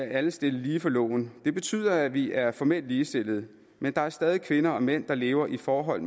alle stillet lige for loven det betyder at vi er formelt ligestillede men der er stadig kvinder og mænd der lever i forhold